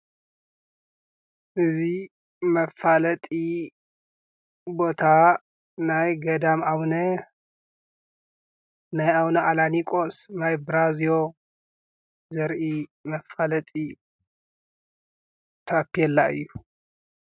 እዙይ መፋለጢ ቦታ ናይ ገዳም ኣቡነ ኣላኒቆስ ማይ በራዝዮ ዘርኢ መፋለጢ ታቤላ እዩ።